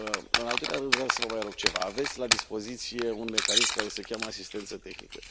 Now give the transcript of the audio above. În al doilea rând, vreau să vă mai rog ceva aveți la dispoziție un mecanism care se cheamă asistență tehnică.